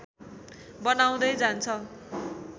बनाउँदै जान्छ